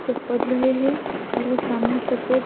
جو پڑھ رہے ہے اور وو سامنے سفید --